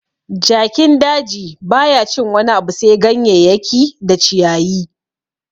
Jakin daji baya cin wani abu sai ganyeyaki da ciyayi